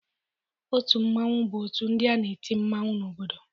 Otu mmanwụ bụ otu ndị na-eti mmanwụ n'obodo.